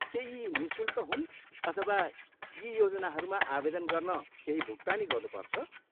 के यी निःशुल्क हुन् अथवा यी योजनाहरूमा आवेदन गर्न केही भुक्तानी गर्नुपर्छ?